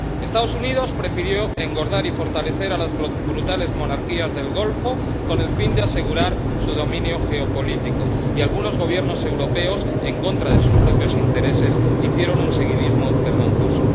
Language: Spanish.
Estados Unidos prefirió engordar y fortalecer a las brutales monarquías del Golfo con el fin de asegurar su dominio geopolítico, y algunos Gobiernos europeos, en contra de sus propios intereses, hicieron un seguidismo vergonzoso.